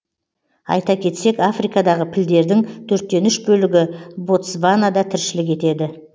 айта кетсек африкадағы пілдердің төрттен үш бөлігі ботсванада тіршілік етеді